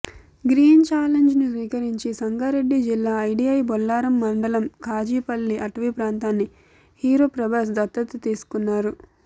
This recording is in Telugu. గ్రీన్ ఛాలెంజ్ను స్వీకరించి సంగారెడ్డి జిల్లా ఐడీఐ బొల్లారం మండలం ఖాజీపల్లి అటవీ ప్రాంతాన్ని హీరో ప్రభాస్ దత్తత తీసుకున్నారు